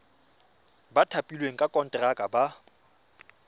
ba thapilweng ka konteraka ba